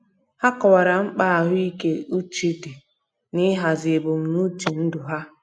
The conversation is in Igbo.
Ha kọwara mkpa ahụike uche di nihazi ebumnuche ndụ ha.